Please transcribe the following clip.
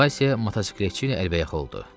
Vasya motosikletçi ilə əlbəyaxa oldu.